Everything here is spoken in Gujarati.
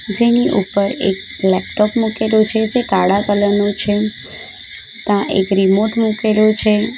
જેની ઉપર એક લેપટોપ મૂકેલુ છે જે કાળા કલર નું છે તાં એક રિમોટ મુકેલુ છે.